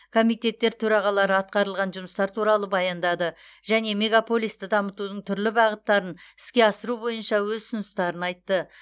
комитеттер төрағалары атқарылған жұмыстар туралы баяндады және мегаполисті дамытудың түрлі бағыттарын іске асыру бойынша өз ұсыныстарын айтты